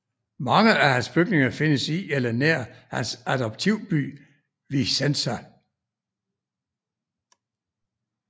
Mange af hans bygninger findes i eller nær hans adoptivby Vicenza